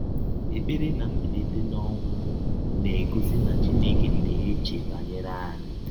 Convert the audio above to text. Ekpere na mbilite n’ọnwụ na - egọsi na Chineke na - eche banyere anyị